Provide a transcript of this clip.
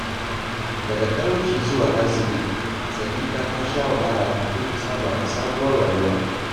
Daga talauci zuwa arziki, Sadiqa ta sha wahala kafin ta saba da sabuwar rayuwa.